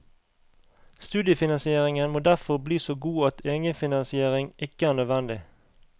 Studiefinansieringen må derfor bli så god at egenfinansiering ikke er nødvendig.